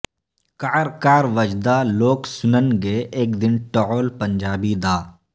کعر کعر وجدا لوک سنن گے اک دن ٹعول پنجابی دا